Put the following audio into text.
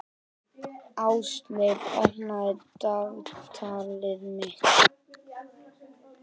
Ásleif, opnaðu dagatalið mitt.